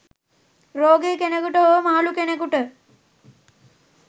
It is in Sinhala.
රෝගි කෙනෙකුට හෝ මහලු කෙනෙකුට